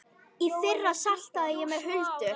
Í fyrra saltaði ég með Huldu.